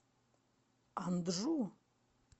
анджу